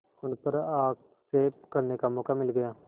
उन पर आक्षेप करने का मौका मिल गया